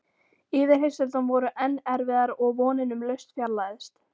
Yfirheyrslurnar voru enn erfiðar og vonin um lausn fjarlægðist.